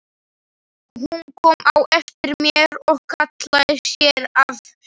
Hún kom á eftir mér og hallaði sér að mér.